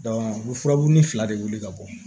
u bɛ furabulu ni fila de wuli ka bɔ